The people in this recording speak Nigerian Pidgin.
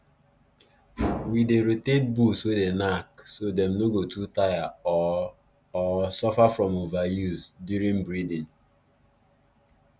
we dey rotate bulls way dey knack so dem no go too tire or or suffer from overuse during breeding